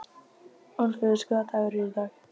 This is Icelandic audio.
Orfeus, hvaða dagur er í dag?